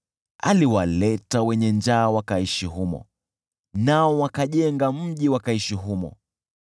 aliwaleta wenye njaa wakaishi humo, nao wakajenga mji wangeweza kuishi.